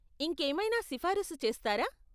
ఇంకేమైనా సిఫారసు చేస్తారా?